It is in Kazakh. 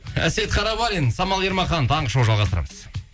әсет қарабалин самал ермахан таңғы шоу жалғастырамыз